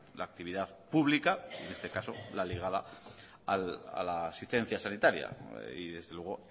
la actividad pública en este caso la ligada a la asistencia sanitaria y desde luego